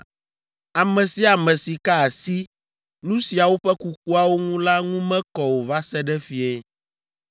Ame sia ame si ka asi nu siawo ƒe kukuawo ŋu la ŋu mekɔ o va se ɖe fiẽ.